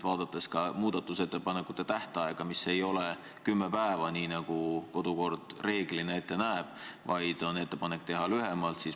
Ja muudatusettepanekute tähtaeg ei ole kümme päeva, nii nagu kodukord reeglina ette näeb, vaid on ettepanek teha lühemalt.